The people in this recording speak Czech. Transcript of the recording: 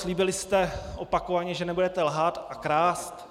Slíbili jste opakovaně, že nebudete lhát a krást.